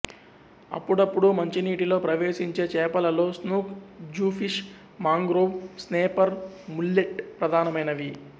అప్పుడప్పుడూ మంచినీటిలో ప్రవేశించే చేపలలో snook jewfish mangrove snapper mullet ప్రధానమైనవి